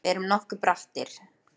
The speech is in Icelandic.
Við erum nokkuð brattir